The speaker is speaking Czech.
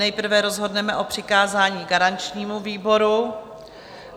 Nejprve rozhodneme o přikázání garančnímu výboru.